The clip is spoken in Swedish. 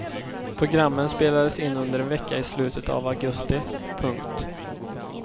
Programmen spelades in under en vecka i slutet av augusti. punkt